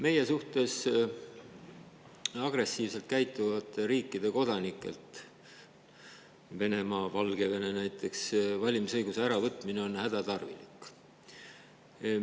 Meie suhtes agressiivselt käituvate riikide kodanikelt – Venemaa ja Valgevene näiteks – valimisõiguse äravõtmine on hädatarvilik.